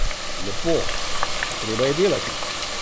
Lepo, a treba je delati!